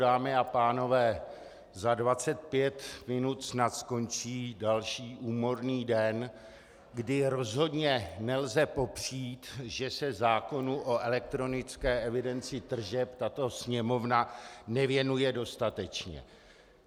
Dámy a pánové, za 25 minut snad skončí další úmorný den, kdy rozhodně nelze popřít, že se zákonu o elektronické evidenci tržeb tato Sněmovna nevěnuje dostatečně.